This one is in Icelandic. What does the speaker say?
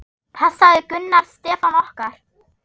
Passaðu Gunnar Stefán okkar.